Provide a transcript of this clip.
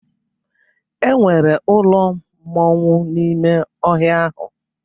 E nwere ụlọ mmọnwụ n'ime ọhịa ahụ.